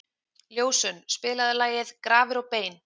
Ljósunn, spilaðu lagið „Grafir og bein“.